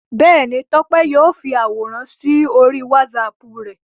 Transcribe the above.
Bẹ́ẹ̀ni, Tọ́pẹ́ yóò fi àwòrán sí orí WhatsApp rẹ̀.